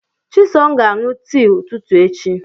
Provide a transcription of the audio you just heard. Chisom ga-aṅụ tii echi ụtụtụ.